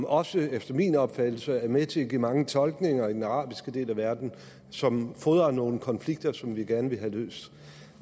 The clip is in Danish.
også efter min opfattelse med til at give mange tolkninger i den arabiske del af verden som fodrer nogle konflikter som vi gerne vil have løst